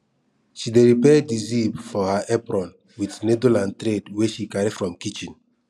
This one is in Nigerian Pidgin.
she dey repair di zip for her apron with needle and thread wey she carry from kitchen